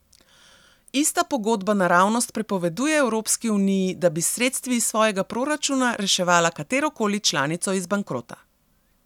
Ista pogodba naravnost prepoveduje Evropski uniji, da bi s sredstvi iz svojega proračuna reševala katerokoli članico iz bankrota.